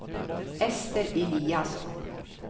Ester Eliasson